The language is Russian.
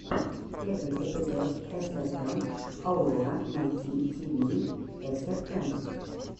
первый эпизод эсэфэм аурора найт тиви эсэфэм